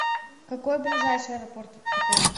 какой ближайший аэропорт к отелю